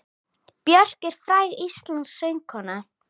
Björk er fræg íslensk söngkona.